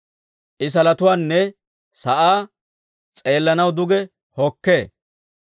I salotuwaanne sa'aa s'eellanaw duge hokkee.